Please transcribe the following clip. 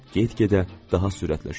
Get-gedə daha sürətlə sürüşür.